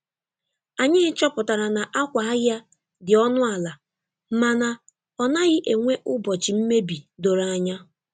Anyị chọpụtara na akwa ahịa dị ọnụ ala mana ọ naghị enwe ụbọchị mmebi doro anya.